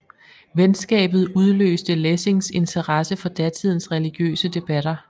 Venskabet udløste Lessings interesse for datidens religiøse debatter